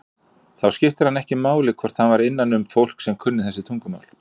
Þá skipti það hann ekki máli hvort hann var innanum fólk sem kunni þessi tungumál.